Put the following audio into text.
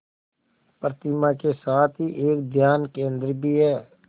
प्रतिमा के साथ ही एक ध्यान केंद्र भी है